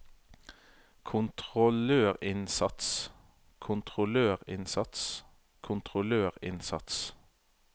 kontrollørinnsats kontrollørinnsats kontrollørinnsats